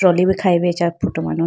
trolley bi khayi bo acha manuma.